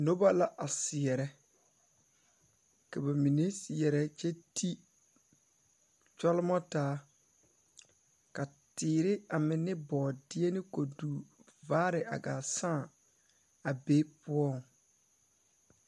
Noba la a seɛrɛ ka ba mine seɛrɛ kyɛ ti kyɔlemɔ taa ka teere a meŋ ne bɔɔdeɛ ne koduvaare a sãã a be poɔ.